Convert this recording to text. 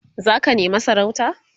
zaka nema sarauta?